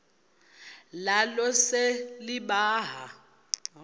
nalo lise libaha